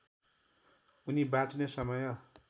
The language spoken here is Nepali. उनी बाँच्ने समय